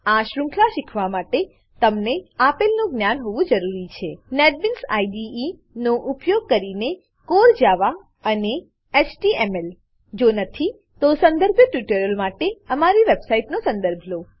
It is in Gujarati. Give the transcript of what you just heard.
આ શૃંખલા શીખવા માટે તમને આપેલનું જ્ઞાન હોવું જરૂરી છે નેટબીન્સ આઇડીઇ નેટબીન્સ આઇડીઈ નો ઉપયોગ કરીને કોર જાવા કોર જાવા અને એચટીએમએલ એચટીએમએલ જો નથી તો સંદર્ભિત ટ્યુટોરીયલો માટે અમારી વેબસાઈટનો સંદર્ભ લો